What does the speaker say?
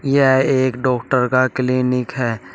यह एक डॉक्टर का क्लीनिक है।